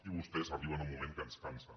i vostès arriben a un moment que ens cansen